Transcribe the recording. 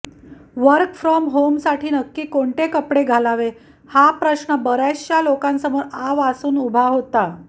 work from होमसाठी नक्की कोणते कपडे घालावे हा प्रश्न बऱ्याचशा लोकांसमोर आ वासून उभा होता